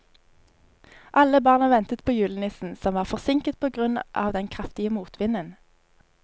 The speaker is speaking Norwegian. Alle barna ventet på julenissen, som var forsinket på grunn av den kraftige motvinden.